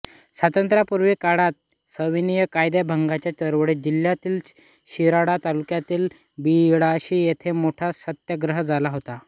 स्वातंत्र्यपूर्व काळात सविनय कायदेभंगाच्या चळवळीत जिल्ह्यातील शिराळा तालुक्यातील बिळाशी येथे मोठा सत्याग्रह झाला होता